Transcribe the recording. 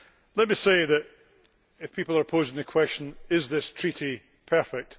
Let me say, if people are posing the question is this Treaty perfect?',